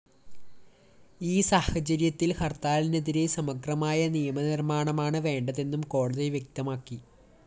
ഈ സാഹചര്യത്തില്‍ ഹര്‍ത്താലിനെതിരെ സമഗ്രമായ നിയമനിര്‍മ്മാണമാണ് വേണ്ടതെന്നും കോടതി വ്യക്തമാക്കി